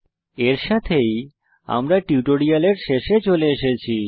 এর সাথেই আমরা টিউটোরিয়ালের শেষে চলে এসেছি